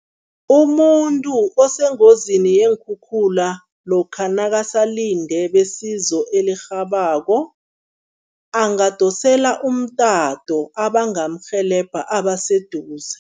Umuntu osengozini yeenkhukhula lokha nakasalinde besizo elirhabako, angadosela umtato abangamrhelebha abaseduze.